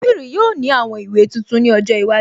Líbìrì yóò ní àwọn ìwé tuntun ní ọjọ́ iwájú